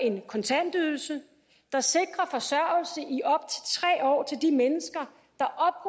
en kontantydelse der sikrer forsørgelse i op til tre år til de mennesker der